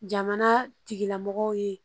Jamana tigilamɔgɔw ye